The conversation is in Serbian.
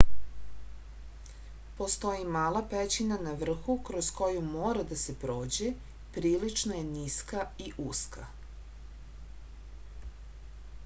postoji mala pećina na vrhu kroz koju mora da se prođe prilično je niska i uska